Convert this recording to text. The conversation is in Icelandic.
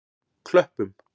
Klöppum